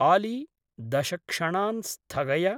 आली, दश क्षणान् स्थगय।